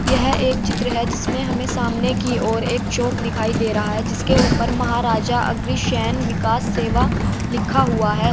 यह एक चित्र है जिसमें हमें सामने की ओर एक चौक दिखाई दे रहा है जिसके ऊपर महाराजा अग्रसेन विकास सेवा लिखा हुआ है।